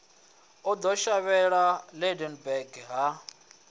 o ḓo shavhela lydenburg ha